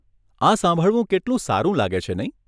આ સાંભળવું કેટલું સારું લાગે છે નહીં?